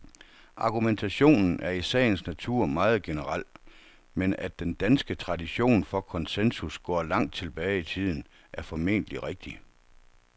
Argumentationen er i sagens natur meget generel, men at den danske tradition for konsensus går langt tilbage i tiden, er formentlig rigtigt.